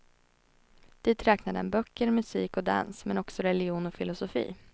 Dit räknade han böcker, musik och dans, men också religion och filosofi.